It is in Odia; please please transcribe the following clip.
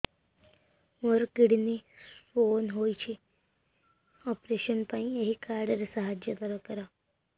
ମୋର କିଡ଼ନୀ ସ୍ତୋନ ହଇଛି ଅପେରସନ ପାଇଁ ଏହି କାର୍ଡ ର ସାହାଯ୍ୟ ଦରକାର